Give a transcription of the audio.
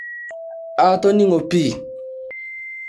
Aatoning'o pii.